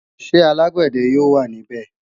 Ṣé alágbàdẹ yóò wà ní bè?